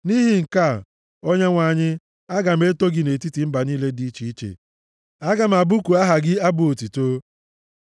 Nʼihi nke a, Onyenwe anyị, aga m eto gị nʼetiti mba niile dị iche iche, aga m abụku aha gị abụ otuto.